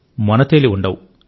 మొనతేలి ఉండవు